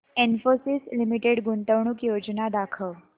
Infosys limited गुंतवणूक योजना दाखव